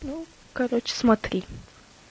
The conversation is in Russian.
ну короче смотри